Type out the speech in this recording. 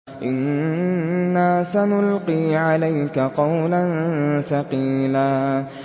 إِنَّا سَنُلْقِي عَلَيْكَ قَوْلًا ثَقِيلًا